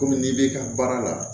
Kɔmi n'i b'i ka baara la